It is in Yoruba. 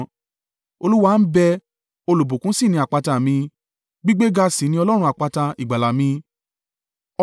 “Olúwa ń bẹ́; olùbùkún sì ni àpáta mi! Gbígbéga sì ni Ọlọ́run àpáta ìgbàlà mi.